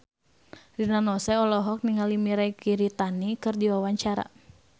Rina Nose olohok ningali Mirei Kiritani keur diwawancara